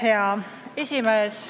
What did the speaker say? Hea esimees!